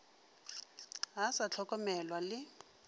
ga a sa hlokomelwa le